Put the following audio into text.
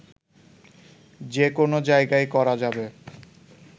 যে কোন জায়গায় করা যাবে